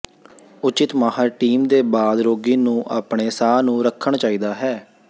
ਉਚਿਤ ਮਾਹਰ ਟੀਮ ਦੇ ਬਾਅਦ ਰੋਗੀ ਨੂੰ ਆਪਣੇ ਸਾਹ ਨੂੰ ਰੱਖਣ ਚਾਹੀਦਾ ਹੈ